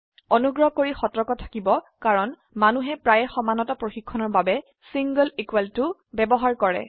অনুগ্ৰহ কৰি সতৰ্ক থাকিব কাৰণ মনোহে প্ৰায়ই সমানতা পৰীক্ষণৰ বাবে ছিংলে ইকোৱেল toএকটি সমান চিহ্নব্যবহাৰ কৰে